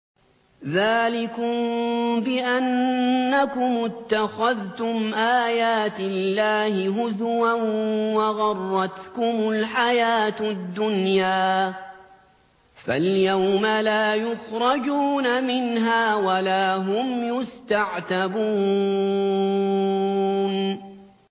ذَٰلِكُم بِأَنَّكُمُ اتَّخَذْتُمْ آيَاتِ اللَّهِ هُزُوًا وَغَرَّتْكُمُ الْحَيَاةُ الدُّنْيَا ۚ فَالْيَوْمَ لَا يُخْرَجُونَ مِنْهَا وَلَا هُمْ يُسْتَعْتَبُونَ